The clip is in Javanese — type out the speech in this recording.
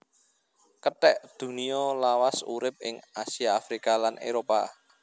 Kethek Dunia lawas urip ing Asia Afrika lan Éropah